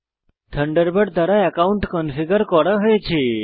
Thunderbird দ্বারা account configure করা হয়েছে